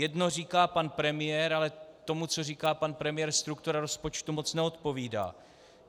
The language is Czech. Jedno říká pan premiér, ale tomu, co říká pan premiér, struktura rozpočtu moc neodpovídá.